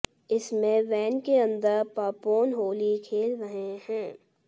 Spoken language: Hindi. इसमें वैन के अंदर पापोन होली खेल रहे हैं